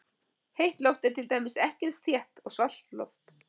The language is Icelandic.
Heitt loft er til dæmis ekki eins þétt og svalt loft.